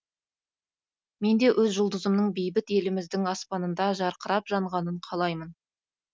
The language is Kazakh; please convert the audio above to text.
менде өз жұлдызымның бейбіт еліміздің аспанында жарқырап жанғанын қалаймын